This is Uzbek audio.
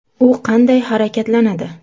U qanday harakatlanadi?